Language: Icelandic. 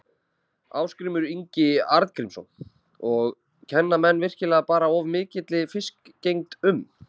Ásgrímur Ingi Arngrímsson: Og kenna menn virkilega bara of mikilli fiskgengd um?